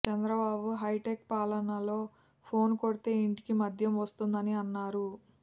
Chandrababu high tech పాలనలో phone కొడితే ఇంటికి మద్యం వస్తోందని అన్నారు